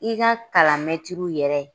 I ka kalan yɛrɛ